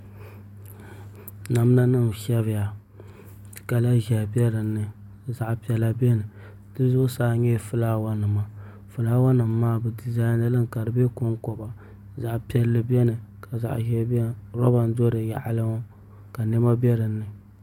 Namda nim n shɛbiya kala ʒiɛhi biɛ dinni zaɣ piɛla biɛni di zuɣusa nyɛla fulaawa nima fulaaawa nim maa bi dizaini limi ka di bɛ konkoba zaɣ piɛlli biɛni ka zaɣ ʒiɛ biɛni roba n do di yaɣali ŋɔ ka niɛma bɛ dinni